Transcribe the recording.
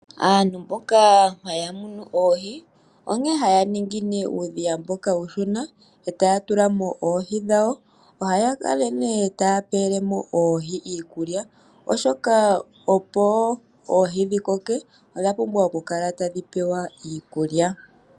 Aantu mboka haya munu oohi, onkene haya ningi uudhiya mboka uushona, e taya tula mo oohi dhawo. Ohaya kala nee taya pele mo oohi iikulya, oshoka opo oohi dhi koke odha pumbwa oku kala tadhi pewa iikulya.